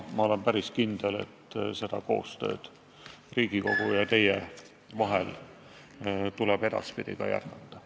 Ma olen päris kindel, et koostööd Riigikogu ja teie vahel tuleb edaspidi jätkata.